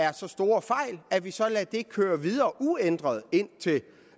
er så store fejl at vi så lader det køre videre uændret indtil